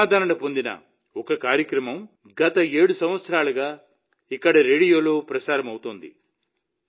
జనాదరణ పొందిన ఒక కార్యక్రమం గత 7 సంవత్సరాలుగా ఇక్కడ రేడియోలో ప్రసారమవుతోంది